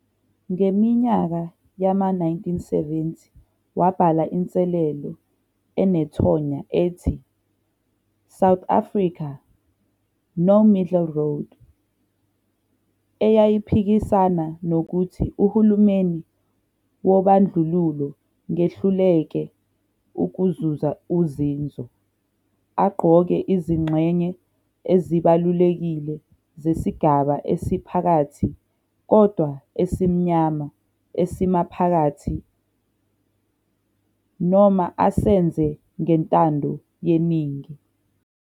Ngeminyaka yama-1970 wabhala inselelo enethonya ethi "South Africa - No Middle Road", eyayiphikisana nokuthi uhulumeni wobandlululo ngehluleke ukuzuza uzinzo, aqoke izingxenye ezibalulekile zesigaba esiphakathi kodwa esimnyama esimaphakathi, noma asenze ngentando yeningi.